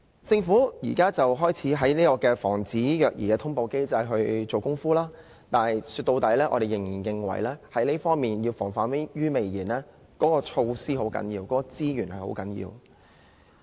政府現時開始在防止虐兒通報機制下工夫，但說到底，我們認為要防患於未然，措施和資源很重要。